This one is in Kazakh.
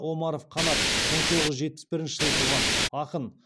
омаров қанат мың тоғыз жүз жетпіс бірінші жылы туған ақын